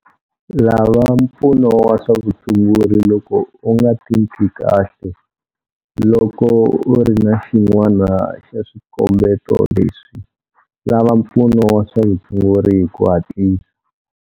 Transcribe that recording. Lava mpfuno wa swa vutshunguri loko u nga titwi kahle. Loko u ri na xin'wana xa swikombeto leswi, lava mpfuno wa swa vutshunguri hi ku hatlisa.